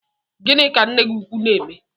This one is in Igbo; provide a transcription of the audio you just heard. Gini ka nne gi ukwu na-eme?